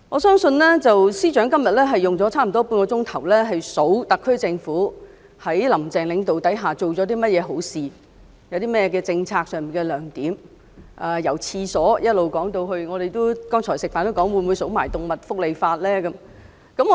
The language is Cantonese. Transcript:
司長今天花了半小時列舉特區政府在"林鄭"領導下做了甚麼好事、政策上有何亮點，包括公廁的改善——我們剛才午飯時還猜測司長會否連動物福利法也一併列舉。